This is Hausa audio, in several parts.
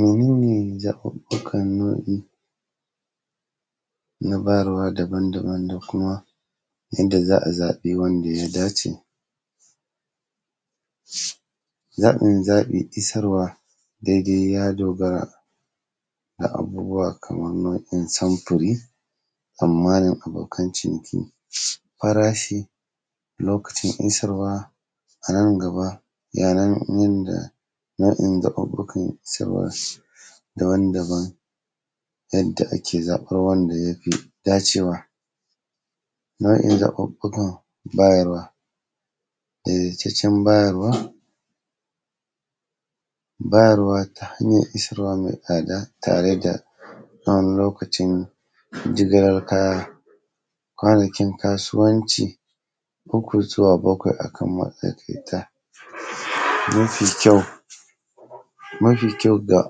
Mene ne zaɓuɓɓukan nau'i, na bayarwa daban-daban da kuma yanda za a zaɓi wanda ya dace? Zaɓin-zaɓi isarwa daidai ya dogara, da abubuwa kamar nau'in samfuri, amma da abokan ciniki. Farashi, lokacin isarwa, a nan gaba, yayin da nau'in zaɓuɓɓukan sayarwa daban-daban, yadda ake zaɓar wanda ya fi dacewa. Nau'in zaɓuɓɓukan bayarwa. Daidaitaccen bayarwa, bayarwa ta hanyar isarwa mai tsada tare da wani lokacin jigilar kaya, kwanakin kasuwanci, hukutuwa bakwai a kan matsakaita, don su yi kyau. Mafi kyau ga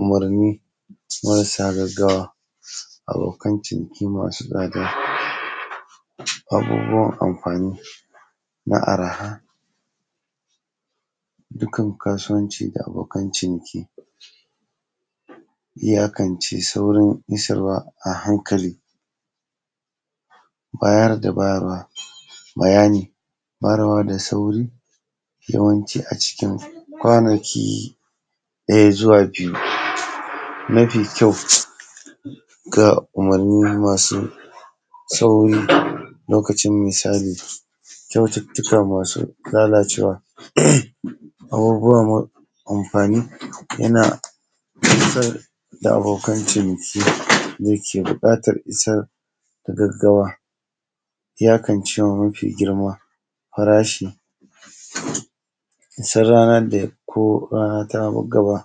umurni marasa gaggawa, abokan ciniki masu tsada, abubuwan amfani, na arha, dukan kasuwanci da abokan ciniki. Iyakance saurin isarwa a hankali, bayar da bayarwa, bayani, bayarwa da sauri, yawanci a cikin kwanaki, ɗaya zuwa biyu, mafi kyau, ga umurni masu sauri lokacin misali, kyaututtuka masu lalacewa. Abubuwan amfani, yana isar da abokan ciniki, da ke buƙatar isar gaggawa. Iyakance ma mafi girma, farashi, sai ranar da ko, rana tana ba gaba,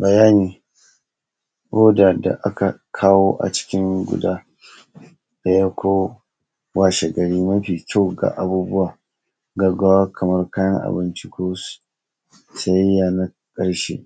bayani ko da da aka kawo a cikin guda, ɗaya, ko washegari mafi kyau ga abubuwa gaggawa kamar kayan abinci ko sayayya na ƙarshe.